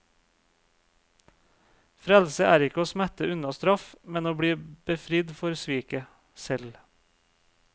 Frelse er ikke å smette unna straff, men å bli befridd for sviket selv.